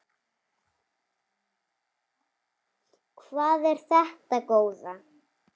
Hvað er þetta góða!